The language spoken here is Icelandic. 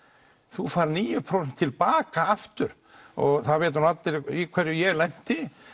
þú færð níu prósent tilbaka aftur og það vita nú allir í hverju ég lenti